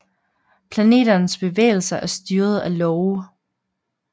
Planeternes bevægelser er styret af love